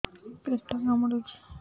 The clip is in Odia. ପେଟ କାମୁଡୁଛି